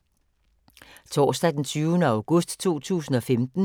Torsdag d. 20. august 2015